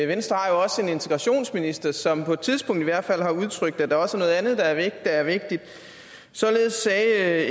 venstre har jo også en integrationsminister som på et tidspunkt i hvert fald har udtrykt at der også er noget andet der er vigtigt således sagde